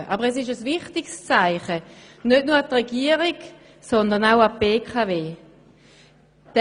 Aber es ist ein wichtiges Zeichen, nicht nur an die Regierung, sondern auch an die BKW.